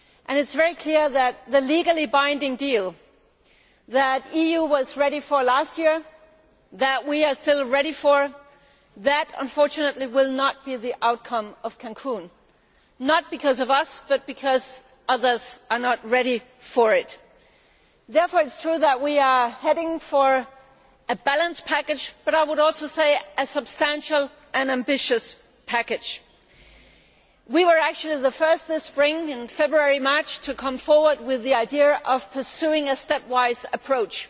It is very clear that the legally binding deal that the EU was ready for last year and that we are still ready for will, unfortunately, not be the outcome of Cancún not because of us, but because others are not ready for it. It is true that we are heading for a package which is balanced but, I would also say, substantial and ambitious. We were actually the first this spring, in February March, to come forward with the idea of pursuing a stepwise approach